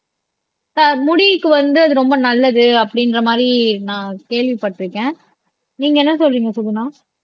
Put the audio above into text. முடிக்கு வந்து அது ரொம்ப நல்லது அப்படின்ற மாதிரி நான் கேள்விப்பட்டிருக்கேன் நீங்க என்ன சொல்றீங்க சுகுனா